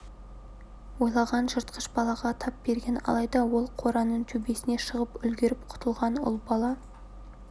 ойлаған жыртқыш балаға тап берген алайда ол қораның төбесіне шығып үлгеріп құтылған ұл бала